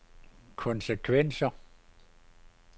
konsekvenser